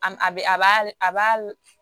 A m a bɛ a b'a a b'a lɔ